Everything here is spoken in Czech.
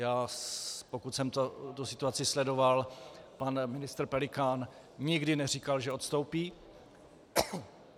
Já, pokud jsem tu situaci sledoval, pan ministr Pelikán nikdy neříkal, že odstoupí.